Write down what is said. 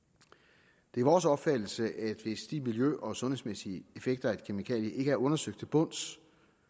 det er vores opfattelse at hvis de miljø og sundhedsmæssige effekter af et kemikalie ikke er undersøgt til bunds